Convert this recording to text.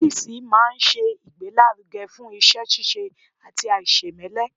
Ọ́fìsì máa n ṣe ìgbélárugẹ́ fún iṣẹ́-síse àti àìsèmẹ́lẹ́